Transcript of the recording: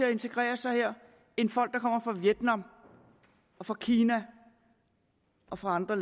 at integrere sig her end folk der kommer fra vietnam og fra kina og fra andre